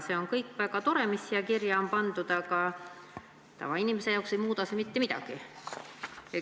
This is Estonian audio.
See kõik on väga tore, mis siia kirja on pandud, aga tavainimese jaoks ei muuda see mitte midagi.